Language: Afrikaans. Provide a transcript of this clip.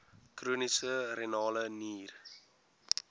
chroniese renale nier